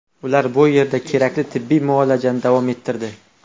Ular bu yerda kerakli tibbiy muolajani davom ettirdi.